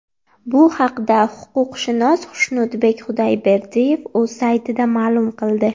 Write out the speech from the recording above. Bu haqda huquqshunos Xushnudbek Xudayberdiyev o‘z saytida ma’lum qildi .